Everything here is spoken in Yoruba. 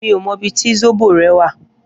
Mi ó mò ibi ti sóbó rè wà